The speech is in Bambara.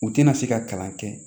U tɛna se ka kalan kɛ